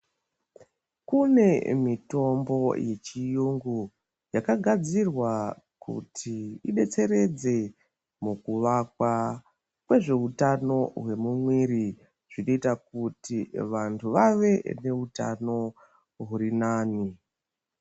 Kune mitombo yechirungu yakagadzirwa kuti idetseredze mukuwakwa kwezvehutano hwemuviri zvinoita kuti vantu vave nehutano huri nane.